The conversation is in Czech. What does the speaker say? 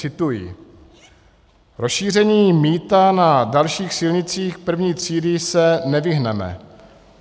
Cituji: "Rozšíření mýta na dalších silnicích první třídy se nevyhneme.